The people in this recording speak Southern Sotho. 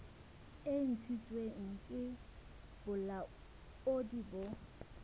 e ntshitsweng ke bolaodi bo